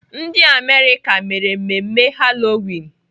Ndị Amerịka mere mmemme Halloween.